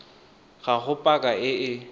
ga go paka e e